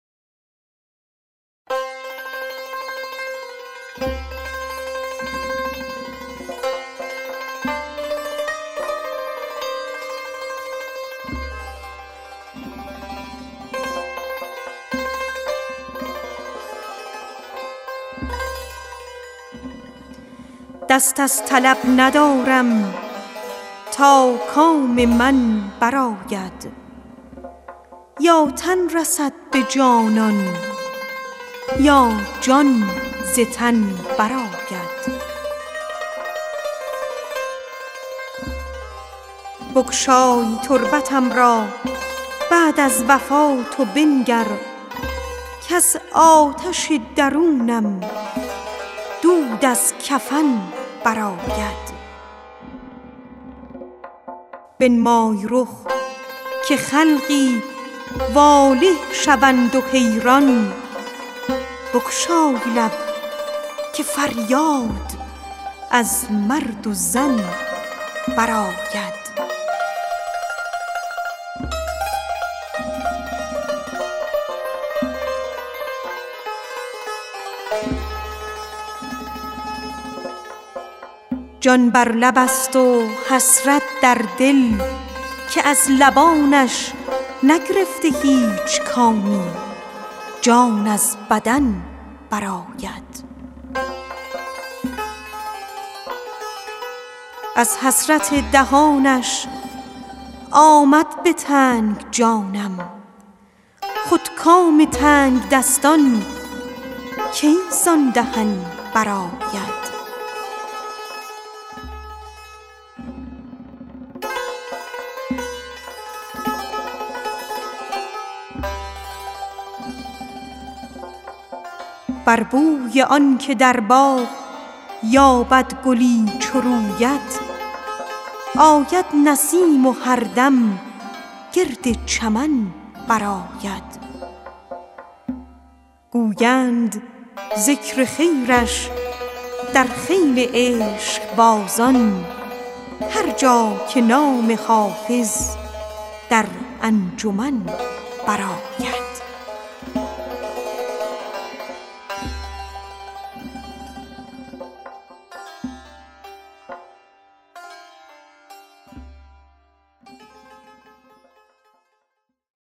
دست از طلب ندارم تا کام من برآید یا تن رسد به جانان یا جان ز تن برآید بگشای تربتم را بعد از وفات و بنگر کز آتش درونم دود از کفن برآید بنمای رخ که خلقی واله شوند و حیران بگشای لب که فریاد از مرد و زن برآید جان بر لب است و حسرت در دل که از لبانش نگرفته هیچ کامی جان از بدن برآید از حسرت دهانش آمد به تنگ جانم خود کام تنگدستان کی زان دهن برآید گویند ذکر خیرش در خیل عشقبازان هر جا که نام حافظ در انجمن برآید